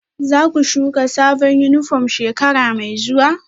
Za ku shuka sabon yunifom shekara mai zuwa?